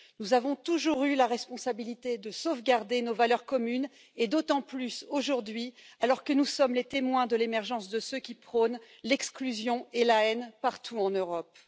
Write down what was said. Nous avons toujours eu la responsabilité de sauvegarder nos valeurs communes, d'autant plus aujourd'hui, alors que nous sommes les témoins de l'émergence de ceux qui prônent l'exclusion et la haine partout en Europe.